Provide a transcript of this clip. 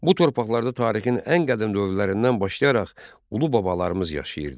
Bu torpaqlarda tarixin ən qədim dövrlərindən başlayaraq ulu babalarımız yaşayırdı.